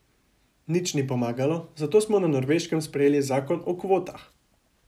Nič ni pomagalo, zato smo na Norveškem sprejeli zakon o kvotah.